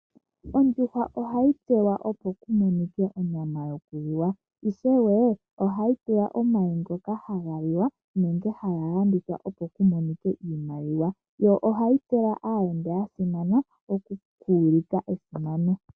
Ondjuhwa ohayi munwa opo ku monike onyama yokulya, ishewe ohayi gandja omayi ngoka haga liwa nenge haga landithwa, opo ku monike oshimaliwa. Ohayi pewa aayenda ya simana okuulika esimano.